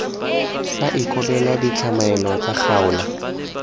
sa ikobele ditlamelo tsa kgaolo